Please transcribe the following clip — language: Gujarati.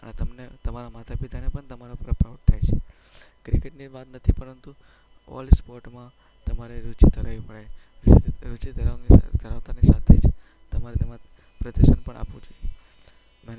તમને તમારા માતા-પિતાને પણ તમારા પર પ્રાઉડ થાય છે. ક્રિકેટની વાત નથી, પરંતુ ઓલ સ્પોર્ટમાં તમારે રુચિ ધરાવવી પડે. રુચિ ધરાવવાની સાથે જ તમારે તમારું પ્રદર્શન પણ આપવું પડે છે.